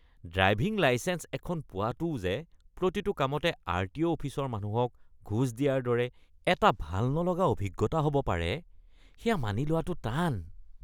Driving licence এখন পোৱাটোও যে প্ৰতিটো কামতে আৰটিঅ’ অফিচৰ মানুহক ঘোচ দিয়াৰ দৰে এটা ভাল নলগা অভিজ্ঞতা হ’ব পাৰে সেয়া মানি লোৱাটো টান।